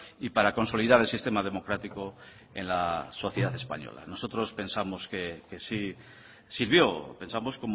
y para consolidar el sistema democrático en la sociedad española nosotros pensamos que sí sirvió pensamos